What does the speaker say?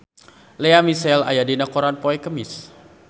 Lea Michele aya dina koran poe Kemis